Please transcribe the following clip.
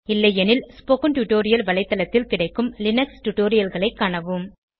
இல்லையெனில் spoken tutorial வலைத்தளத்தில் கிடைக்கும் லினக்ஸ் டுடோரியல்களைக் காணவும்